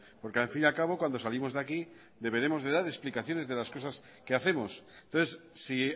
porque al fin y a cabo cuando salimos de aquí deberemos de dar explicaciones de las cosas que hacemos entonces si